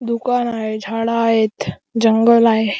दुकान आहे झाडं हायत जंगल आहे.